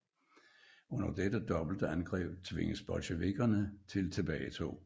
Under dette dobbelte angreb tvinges bolsjevikkerne til tilbagetog